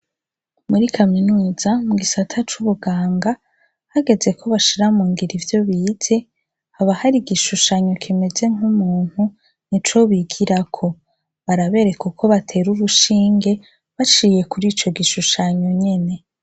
Muri kaminuza, mu gisata c'ubuganga, hageze ko bashira mu ingiro ivyo bize, haba hari igishushanyo kimeze nk'umuntu nico bigirako. Barabereka uko batera urushinge baciye kuri ico gishushanyo nyene.